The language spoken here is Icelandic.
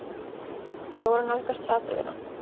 Þau voru að nálgast hraðbrautina.